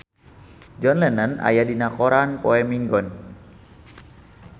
John Lennon aya dina koran poe Minggon